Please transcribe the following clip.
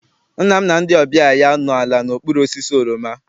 Nna m na ndị ọbịa ya nọ ala n'okpuru osisi oroma.